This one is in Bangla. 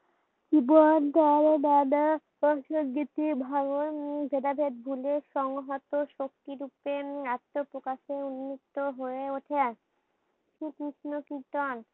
বদ্দারে দাদা অ সংহতি ভাঙ্গন ভেদাভেদ ভুলে সংহত শক্তি রূপে উম আত্ম প্রকাশে উন্মুক্ত হয়ে উঠে। শ্রী কৃষ্ণ কীর্তন